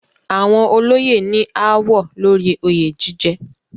Àwọn olóyè ní ááwọ̀ lórí oyè jíjẹ.